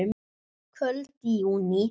Kvöld í júní.